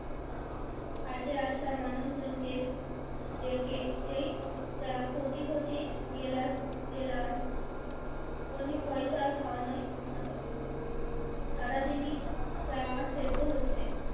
হাটে আসা মানুষ জন কে ডেকে সেই চা ঘটি ঘটি গ্লাস গ্লাস বিনে পয়সার খাওয়ানই হতো সারাদিন ই চা সেদ্ধ হচ্ছে।